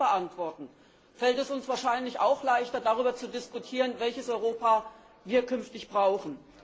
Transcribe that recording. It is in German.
Wenn wir das beantworten, fällt es uns wahrscheinlich auch leichter, darüber zu diskutieren, welches Europa wir künftig brauchen.